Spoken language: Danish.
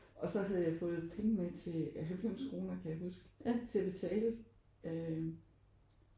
Og så havde jeg fået penge med til 90 kroner kan jeg huske til at betale øh